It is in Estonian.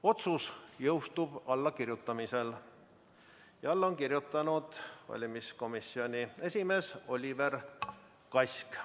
Otsus jõustub allakirjutamisel ja alla on kirjutanud valimiskomisjoni esimees Oliver Kask.